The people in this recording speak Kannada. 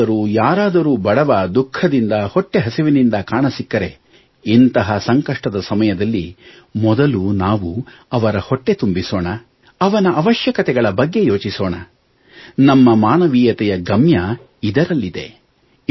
ಎಲ್ಲಿಯಾದರೂ ಯಾರಾದರೂ ಬಡವ ದುಃಖದಿಂದ ಹೊಟ್ಟೆ ಹಸಿವಿನಿಂದ ಕಾಣಸಿಕ್ಕರೆ ಇಂತಹ ಸಂಕಷ್ಟದ ಸಮಯದಲ್ಲಿ ಮೊದಲು ನಾವು ಅವರ ಹೊಟ್ಟೆ ತುಂಬಿಸೋಣ ಅವನ ಅವಶ್ಯಕತೆಗಳ ಬಗ್ಗೆ ಯೋಚಿಸೋಣ ನಮ್ಮ ಮಾನವೀಯತೆಯ ಗಮ್ಯ ಇದರಲ್ಲಿದೆ